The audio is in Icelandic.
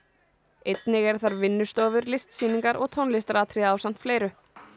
einnig eru þar vinnustofur listsýningar og tónlistaratriði ásamt fleiru